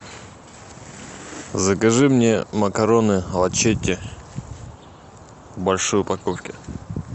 закажи мне макароны лачетти в большой упаковке